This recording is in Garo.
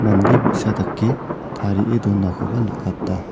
mande bi·sa dake tarie donakoba nikata.